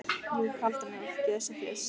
Jú, kalda mjólk, ég er svo þyrst.